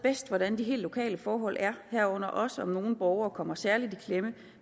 hvordan de helt lokale forhold er herunder også om nogle borgere kommer særligt i klemme